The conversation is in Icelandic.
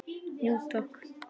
Jú takk